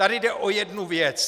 Tady jde o jednu věc.